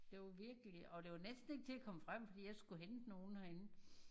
Det var virkelig og det var næsten ikke til at komme frem fordi jeg skulle hente nogen herinde